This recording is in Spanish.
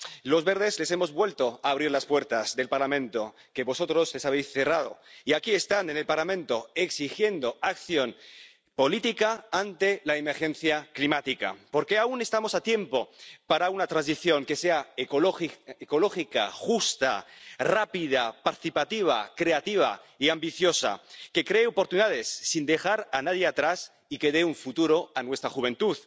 Los Verdes les hemos vuelto a abrir las puertas del Parlamento que vosotros les habéis cerrado y aquí están, en el Parlamento, exigiendo acción política ante la emergencia climática, porque aún estamos a tiempo para una transición que sea ecológica, justa, rápida, participativa, creativa y ambiciosa, que cree oportunidades sin dejar a nadie atrás y que dé un futuro a nuestra juventud.